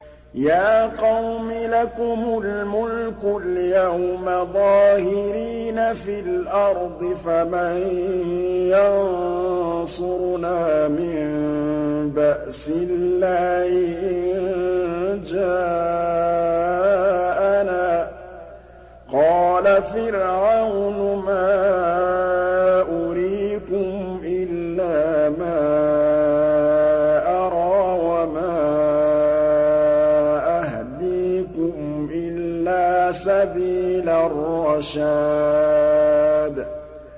يَا قَوْمِ لَكُمُ الْمُلْكُ الْيَوْمَ ظَاهِرِينَ فِي الْأَرْضِ فَمَن يَنصُرُنَا مِن بَأْسِ اللَّهِ إِن جَاءَنَا ۚ قَالَ فِرْعَوْنُ مَا أُرِيكُمْ إِلَّا مَا أَرَىٰ وَمَا أَهْدِيكُمْ إِلَّا سَبِيلَ الرَّشَادِ